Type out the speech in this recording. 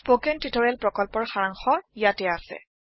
spoken tutorial প্ৰকল্পৰ সাৰাংশ ইয়াতে আছে